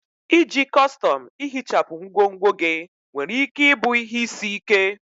Iji kọstọm ihichapụ ngwongwo gị nwere ike ịbụ ihe isi ike.